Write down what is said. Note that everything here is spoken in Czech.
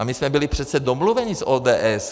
A my jsme byli přece domluveni s ODS.